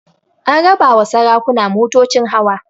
An raba ma sarakuna motocin hawa